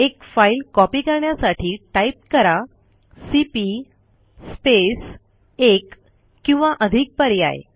एक file copy करण्यासाठी type कराcp स्पेस एक किंवा अधिक पर्याय